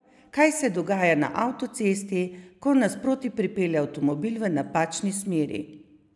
Kaj se dogaja na avtocesti, ko nasproti pripelje avtomobil v napačni smeri?